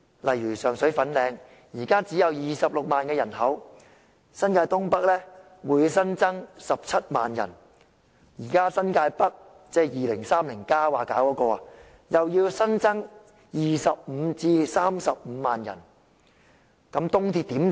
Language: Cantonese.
例如上水和粉嶺，人口現在只有26萬，新界東北的人口會新增17萬，現在新界北——即《香港 2030+》提出要發展的地區——又會新增25萬至35萬人，試問東鐵如何撐得住呢？